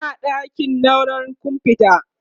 Muna ɗakin naurar komfuta.